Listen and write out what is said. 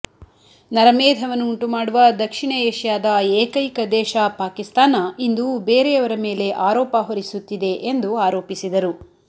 ನರಮೇಧವನ್ನು ಉಂಟುಮಾಡುವ ದಕ್ಷಿಣ ಏಷ್ಯಾದ ಏಕೈಕ ದೇಶ ಪಾಕಿಸ್ತಾನ ಇಂದು ಬೇರೆಯವರ ಮೇಲೆ ಆರೋಪ ಹೊರಿಸುತ್ತಿದೆ ಎಂದು ಆರೋಪಿಸಿದರು